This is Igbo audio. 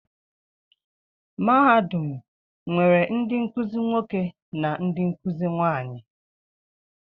Mahadum nwere ndị nkuzi nwoke na ndị nkuzi nwaanyị.